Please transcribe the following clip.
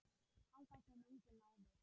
Þangað kom enginn áður.